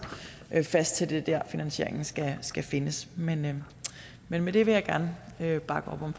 fast på at det er der finansieringen skal skal findes men men med det vil jeg gerne bakke op om